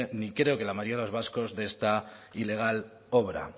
ni creo que la mayoría de los vascos de esta ilegal obra